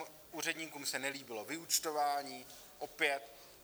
Úředníkům se nelíbilo vyúčtování, opět.